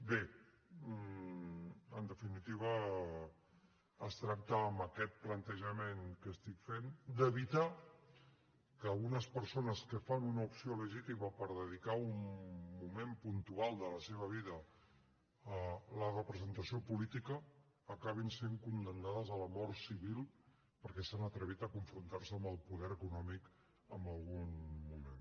bé en definitiva es tracta amb aquest plantejament que estic fent d’evitar que unes persones que fan una opció legítima per dedicar un moment puntual de la seva vida a la representació política acabin sent condemnades a la mort civil perquè s’han atrevit a confrontar se amb el poder econòmic en algun moment